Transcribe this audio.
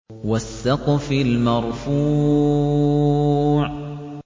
وَالسَّقْفِ الْمَرْفُوعِ